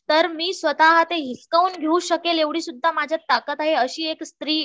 तर मी स्वतः हिसकावून घेऊ शकेल एवढी सुद्धा माझ्यात ताकद आहे अशी एक स्त्री